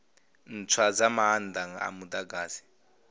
ntswa dza maanda a mudagasi